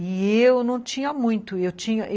E eu não tinha muito. Eu tinha